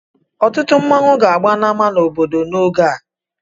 Ọtụtụ nmanwu ga-agba na ama obodo n'oge a.